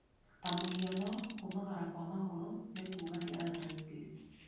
Ta mũhiano, kũmangara kwa magũrũ nĩ kuuga nĩ arthritis.